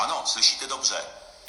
Ano, slyšíte dobře.